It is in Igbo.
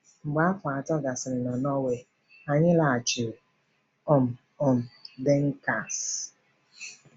Mgbe afọ atọ gasịrị na Norway, anyị laghachiri um um DenKamsi.